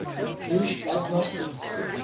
jewish agnostics